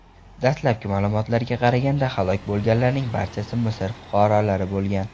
Dastlabki ma’lumotlarga qaraganda, halok bo‘lganlarning barchasi Misr fuqarolari bo‘lgan.